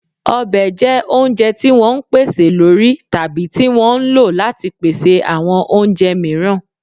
Ọbẹ̀ jẹ́ oúnjẹ tí wọ́n ń pèsè lórí tàbí tí wọ́n ń lò ó láti pèsè àwọn oúnjẹ mìíràn